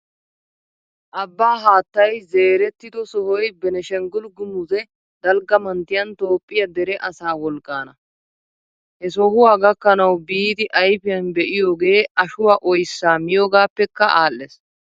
Abaa haattay zeerettido sohoy Beenishanggul gumuze dalgga manttiyaan Toophphiyaa dere asaa wolqqaana. He sohuwaa gakkanawu biidi ayfiyan be'iyoogee ashuwaa oyssaa mioogaappeekka aadhdhees.